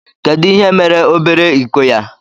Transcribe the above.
Kedu ihe mere obere iko ya.